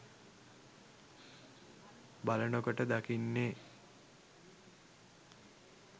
බලන කොට දකින්නේ